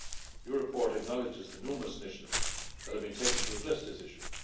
Your report acknowledges the numerous initiatives that have been taken to address the issue.